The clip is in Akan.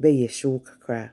bɛyɛ hyew kakra.